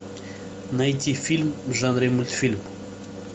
найти фильм в жанре мультфильм